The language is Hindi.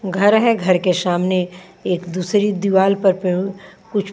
घर हैं घर के सामने एक दूसरी दीवाल पर पयो कुछ--